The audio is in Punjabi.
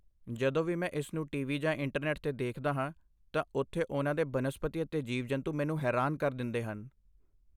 ਜਦੋਂ ਵੀ ਮੈਂ ਇਸ ਨੂੰ ਟੀਵੀ ਜਾਂ ਇੰਟਰਨੈਟ 'ਤੇ ਦੇਖਦਾ ਹਾਂ ਤਾਂ ਉਥੇ ਉਨ੍ਹਾਂ ਦੇ ਬਨਸਪਤੀ ਅਤੇ ਜੀਵ ਜੰਤੂ ਮੈਨੂੰ ਹੈਰਾਨ ਕਰ ਦਿੰਦੇ ਹਨ